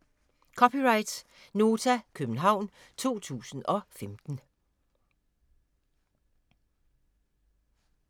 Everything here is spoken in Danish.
(c) Nota, København 2015